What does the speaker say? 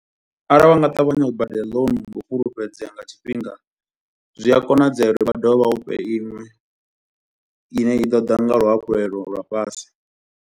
Arali vha nga ṱavhanya u badela loan ngou fhulufhedzea nga tshifhinga, zwi a konadzea uri vha dovhe vha u fhe iṅwe ine i ḓo ḓa nga luhafhulelo lwa fhasi.